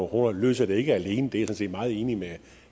kroner løser det ikke alene det er set meget enig med